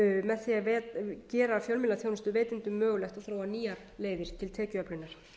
með því að gera fjölmiðlaþjónustuveitendum mögulegt að þróa nýjar leiðir til tekjuöflunar